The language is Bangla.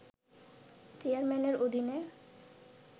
চেয়ারম্যানের অধীনে